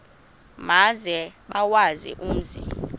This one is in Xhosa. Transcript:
maze bawazi umzi